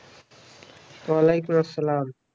ওয়ালাইকুম আসসালাম